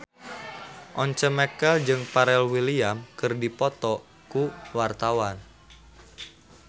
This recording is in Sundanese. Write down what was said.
Once Mekel jeung Pharrell Williams keur dipoto ku wartawan